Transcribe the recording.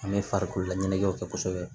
An bɛ farikololaɲɛnajɛw kɛ kosɛbɛ